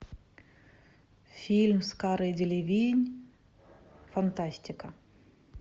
фильм с карой делевинь фантастика